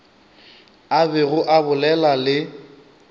a bego a bolela le